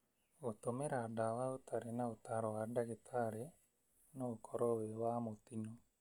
Gũtũmĩra ndawa ũtarĩ na ũtaaro wa ndagĩtarĩ no ũkorwo wĩ wa mũtino.